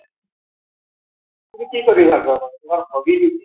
তুমি কি কৰি ভাল পোৱা ? তোমাৰ hobby টো কি?